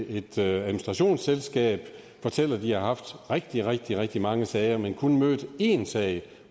et administrationsselskab fortæller at de har haft rigtig rigtig rigtig mange sager men kun haft én sag